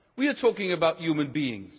We are talking about human beings.